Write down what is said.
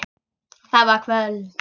Það var kvöld.